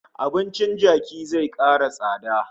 Abincin kaji zai kara tsada